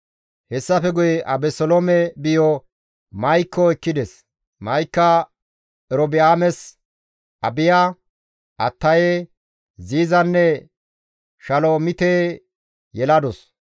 Hessafe guye Abeseloome biyo Ma7ikko machcho ekkides; Ma7ika Erobi7aames Abiya, Attaye, Ziizanne Shalomite yeladus.